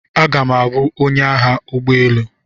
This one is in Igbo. Aga m abụ onye agha ụgbọ elu.